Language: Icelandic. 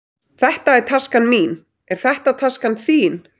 Þetta er taskan mín. Er þetta taskan þín?